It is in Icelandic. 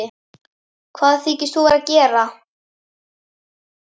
HVAÐ ÞYKIST ÞÚ VERA AÐ GERA!